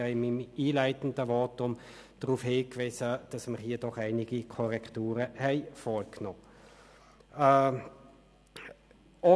In meinem einleitenden Votum habe ich darauf hingewiesen, dass wir hier doch einige Korrekturen vorgenommen haben.